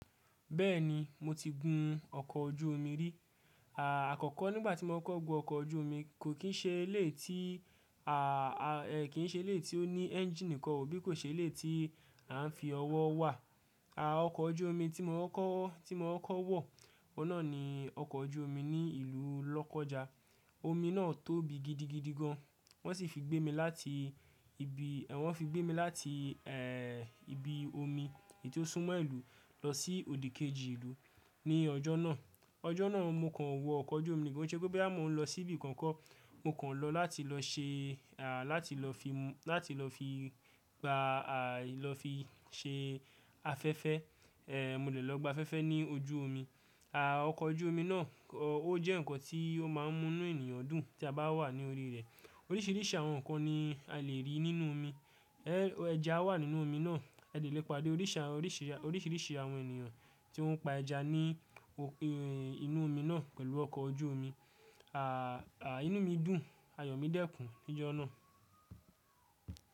Bẹ́ẹ̀ni, mo ti gun ọkọ̀ ojú omi rí. Àkọ́kọ́ nígbà tí mo kọ́ko gun ọkọ̀ ojú omi kò kín ṣe eléyi tí, kí i ṣe eléyi tí ó ní ẹ́ńjíìn nìkan o, bí kò ṣe eléyi tí à ń fi ọwọ́ wà. Ọkọ̀ ojú omi tí mo kọ́kọ́, tí mo kọ́kọ́ wọ̀, ọ̀un nàa ni ọkọ̀ ojú omi ní ìlú Lọ́kọ́ja. Omi náà tóbi gidigidi gan. Wọ́n sì fi gbé mi láti ibi, wọ́n fi gbé mi láti, ibi omi èyi tí ó sún mọ́ ìlú lọ sí òdì kejì ìlú ní ọjọ́ náà. Ọjọ́ náà mo kàn wọ ọkọ̀ ojú omi nì, kó ṣe pé boya mo ń lọ sí ibi kan ko, mo kàn lọ láti lọ ṣe, láti lọ fi mu, láti lọ fi gba, lọ fi ṣe afẹ́fẹ́. Mo dè lọ gba afẹ́fẹ́ ní ojú omi. Ọkọ̀ ojú omi náà kọ́ ó jẹ́ nǹkan tí ó máa ń mú inú ènìyàn dùn tí a bá wà ní orí rẹ̀. Oríṣìíríṣìí àwọn nǹkan ni a lè rí nínú omi. Ẹja wà nínú omi náà. A dè lè pàdé orísii, oríṣìíríṣìí àwọn ènìyàn tí ọ́ ń pa ẹja ní òpin inú omi náà pẹ̀lú ọkọ̀ ojú omi. Ínu mi dùn, ayọ̀ mi dẹ́kun ní ọjọ́ náà.